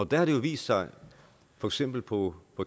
der har det jo vist sig for eksempel på